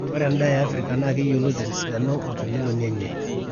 ore endaa e africa naa keyioloti tesidano o temeloni enye